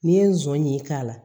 N'i ye nson ɲin k'a la